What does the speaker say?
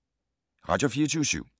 Radio24syv